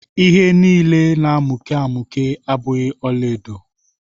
All that glitters are not gold.